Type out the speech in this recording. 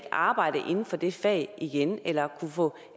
arbejde inden for det fag igen eller kunne få